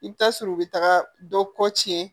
I bɛ taa sɔrɔ u bɛ taga dɔ kɔ tiɲɛ